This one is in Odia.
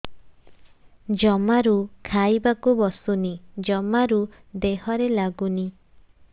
ଜମାରୁ ଖାଇବାକୁ ବସୁନି ଜମାରୁ ଦେହରେ ଲାଗୁନି